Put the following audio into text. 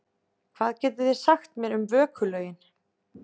Hvað getið þið sagt mér um vökulögin?